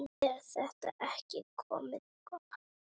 Er þetta ekki komið gott?